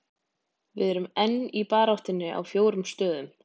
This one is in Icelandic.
Við erum enn í baráttunni á fjórum stöðum.